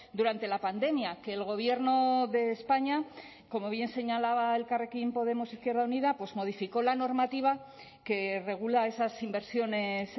durante la pandemia que el gobierno de españa como bien señalaba elkarrekin podemos izquierda unida pues modificó la normativa que regula esas inversiones